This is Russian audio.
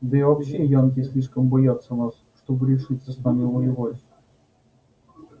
да и вообще янки слишком боятся нас чтобы решиться с нами воевать